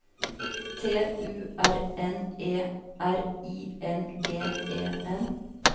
T U R N E R I N G E N